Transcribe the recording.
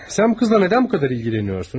Sən bu qızla nədən bu qədər ilgilənirsən?